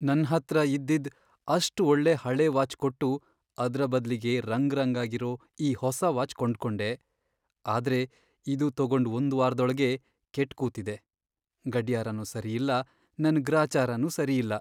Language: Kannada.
ನನ್ಹತ್ರ ಇದ್ದಿದ್ ಅಷ್ಟ್ ಒಳ್ಳೆ ಹಳೇ ವಾಚ್ ಕೊಟ್ಟು ಅದ್ರ ಬದ್ಲಿಗೆ ರಂಗ್ರಂಗಾಗಿರೋ ಈ ಹೊಸ ವಾಚ್ ಕೊಂಡ್ಕೊಂಡೆ, ಆದ್ರೆ ಇದು ತಗೊಂಡ್ ಒಂದ್ ವಾರ್ದೊಳಗೇ ಕೆಟ್ ಕೂತಿದೆ. ಗಡ್ಯಾರನೂ ಸರಿಯಿಲ್ಲ, ನನ್ ಗ್ರಾಚಾರನೂ ಸರಿಯಿಲ್ಲ.